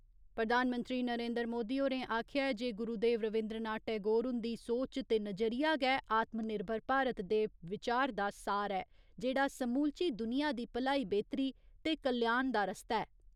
प्रधानमंत्री नरेन्द्र मोदी होरें आखेआ ऐ जे गुरुदेव रवीन्द्र नाथ टैगोर हुन्दी सोच ते नजरिया गै आत्म निर्भर भारत दे विचार दा सार ऐ, जेह्ड़ा समूलची दुनिया दी भलाई बेह्तरी ते कल्याण दा रस्ता ऐ।